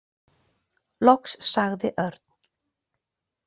Loks sagði Örn.